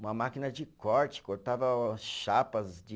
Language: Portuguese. Uma máquina de corte, cortava chapas de